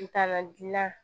Tanga gilan